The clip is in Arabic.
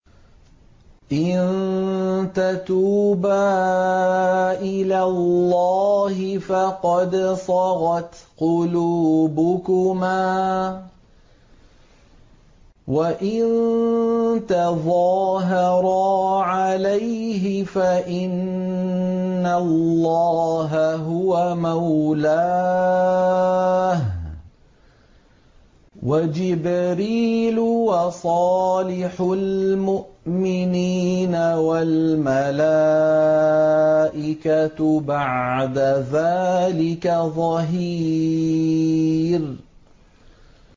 إِن تَتُوبَا إِلَى اللَّهِ فَقَدْ صَغَتْ قُلُوبُكُمَا ۖ وَإِن تَظَاهَرَا عَلَيْهِ فَإِنَّ اللَّهَ هُوَ مَوْلَاهُ وَجِبْرِيلُ وَصَالِحُ الْمُؤْمِنِينَ ۖ وَالْمَلَائِكَةُ بَعْدَ ذَٰلِكَ ظَهِيرٌ